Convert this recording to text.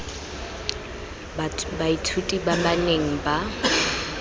baithuti ba ba neng ba